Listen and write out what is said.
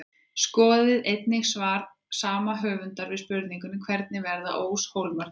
Skoðið einnig svar sama höfundar við spurningunni Hvernig verða óshólmar til?